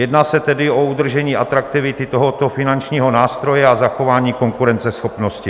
Jedná se tedy o udržení atraktivity tohoto finančního nástroje a zachování konkurenceschopnosti.